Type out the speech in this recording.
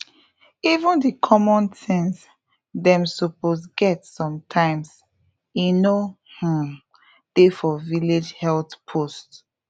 even the common things dem suppose get sometimes e no um dey for village health post